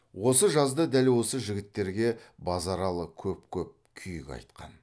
осы жазда дәл осы жігіттерге базаралы көп көп күйік айтқан